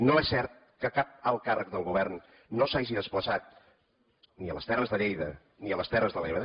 no és cert que cap alt càrrec del govern no s’hagi desplaçat ni a les terres de lleida ni a les terres de l’ebre